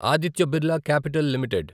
Aditya Birla Capital limited